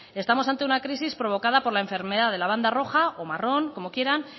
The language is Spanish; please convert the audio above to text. estamos ante una crisis provocada por la enfermedad de la banda roja o marrón como quieran